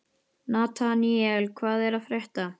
Nataníel, hvað er að frétta?